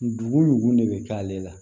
Dugun dugun de bɛ k'ale la